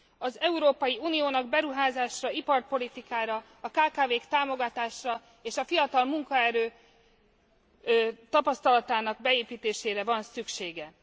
Az Európai Uniónak beruházásra, iparpolitikára, a kkv k támogatására és a fiatal munkaerő tapasztalatának beépítésére van szüksége.